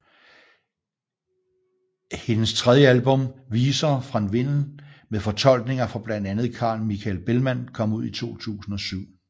Hendes tredje album Visor från vinden med fortolkninger fra blandt andet Carl Michael Bellman kom ud i 2007